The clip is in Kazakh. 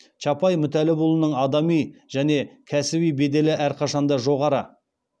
чапай мүтәллапұлының адами және кәсіби беделі әрқашанда жоғары